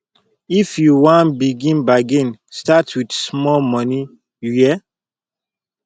if you wan begin bargain start wit small moni you hear